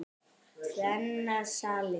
Tvennar svalir.